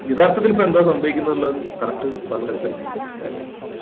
യഥാർത്ഥത്തിൽ ഇപ്പൊ എന്താ സംഭവിക്കുന്നതിനുള്ള correct പറഞ്ഞ് മനസ്സിലാക്കണം അത് തന്നെ